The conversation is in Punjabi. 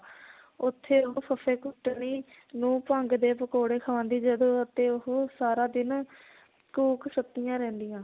ਉੱਥੇ ਉਹ ਫੱਫੇ ਕੁੱਟਣੀ ਨੂੰ ਭੰਗ ਦੇ ਪਕੌੜੇ ਖਵਾਉਂਦੀ ਜਦੋਂ ਅਤੇ ਉਹ ਸਾਰਾ ਦਿਨ ਘੂਕ ਸੁਤੀਆਂ ਰਹਿੰਦੀਆਂ।